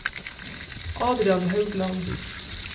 Adrian Haugland